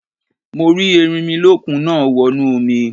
Mo rí tí Erinmilọ́kun náà wọnú omi.